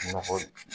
Nɔgɔ